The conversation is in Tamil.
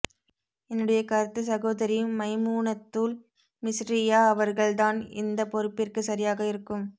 என்னுடைய கருத்து சகோதரி மைமூனத்துள் மிஸ்ரிய்யா அவர்கள் தான் இந்த்த பொறுப்பிற்கு சரியாக இருக்கும்